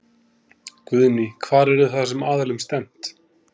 Guðný: Hvar yrði þá þessum aðilum stefnt?